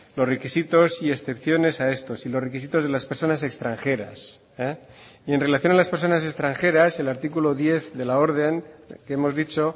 los requisitos y excepciones a estos y los requisitos de las personas extranjeras y en relación a las personas extranjeras el artículo diez de la orden que hemos dicho